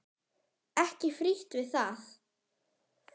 Ekki frítt við það!